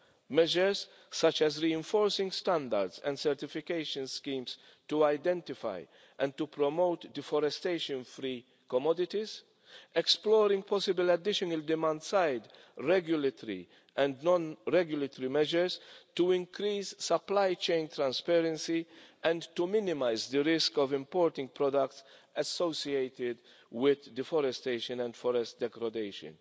Those measures include reinforcing standards and certification schemes to identify and to promote deforestation free commodities, exploring possible additional demand-side regulatory and non regulatory measures to increase supply-chain transparency and to minimise the risk of importing products associated with deforestation and forest degradation,